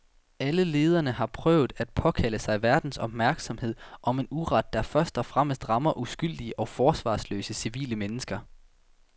Alle lederne har prøvet at påkalde sig verdens opmærksomhed om en uret, der først og fremmest rammer uskyldige og forsvarsløse civile mennesker.